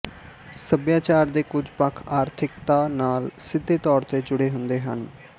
ਸਭਿਆਚਾਰ ਦੇ ਕੁਝ ਪੱਖ ਆਰਥਿਕਤਾ ਨਾਲ ਸਿੱਧੇ ਤੌਰ ਤੇ ਜੁੜੇ ਹੁੰਦੇ ਹਨ